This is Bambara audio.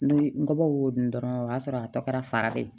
N bɔbɔ y'o dun dɔrɔn o y'a sɔrɔ a tɔ kɛra fara de ye